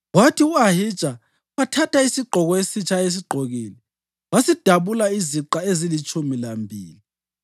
kwathi u-Ahija wathatha isigqoko esitsha ayesigqokile wasidabula iziqa ezilitshumi lambili.